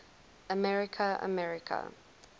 america america